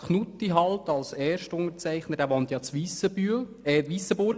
Knutti als Erstunterzeichner der Motion wohnt in Weissenbühl, pardon in Weissenburg.